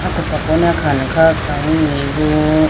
akopra kone akha khawuyi bo.